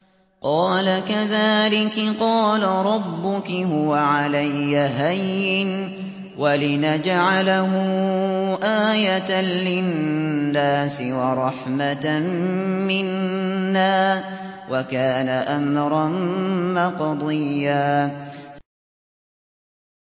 قَالَ كَذَٰلِكِ قَالَ رَبُّكِ هُوَ عَلَيَّ هَيِّنٌ ۖ وَلِنَجْعَلَهُ آيَةً لِّلنَّاسِ وَرَحْمَةً مِّنَّا ۚ وَكَانَ أَمْرًا مَّقْضِيًّا